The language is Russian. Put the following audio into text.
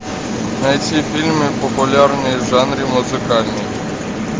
найти фильмы популярные в жанре музыкальный